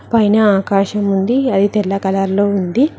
పైన ఆకాశం ఉంది అది తెల్ల కలర్ లో ఉంది.